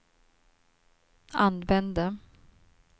använde